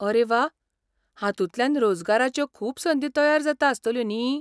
आरे वा! हातूंतल्यान रोजगाराच्यो खूब संदी तयार जाता आसतल्यो न्ही.